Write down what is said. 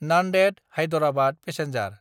Nanded Hyderabad passenger